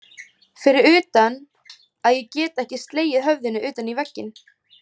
Fyrir utan að ég get ekki slegið höfðinu utan í vegginn.